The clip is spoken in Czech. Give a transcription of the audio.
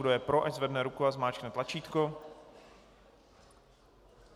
Kdo je pro, ať zvedne ruku a zmáčkne tlačítko.